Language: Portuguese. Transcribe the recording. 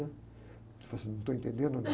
Ele falou assim, não estou entendendo nada.